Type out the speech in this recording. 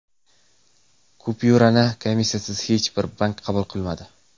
Kupyurani komissiyasiz hech bir bank qabul qilmadi.